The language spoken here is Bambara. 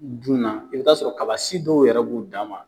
Junna i bɛ t'a sɔrɔ kaba si dɔw yɛrɛ b'u dan ma.